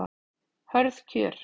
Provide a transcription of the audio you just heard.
Hörð kjör